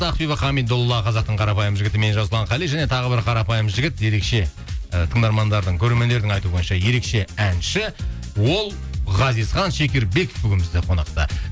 ақбибі хамидолла қазақтың қарапайым жігіті мен жасұлан қали және тағы бір қарапайым жігіт ерекше ы тыңдармандардың көрермендердің айтуы бойынша ерекше әнші ол ғазизхан шекербеков бүгін бізде қонақта